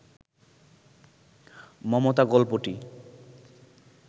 মমতা গল্পটি